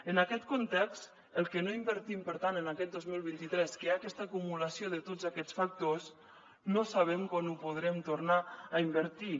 en aquest context el que no invertim per tant en aquest dos mil vint tres que hi ha aquesta acumulació de tots aquests factors no sabem quan ho podrem tornar a invertir